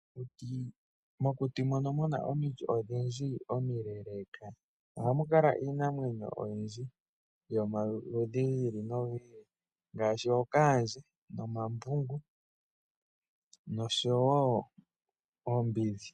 Mokuti mono muna omiti odhindji omileeleeka ohamukala iinamwenyo oyindji, yomaludhi giili nogiili ngaashi: ookaandje, omambungu nosho wo oombidhi.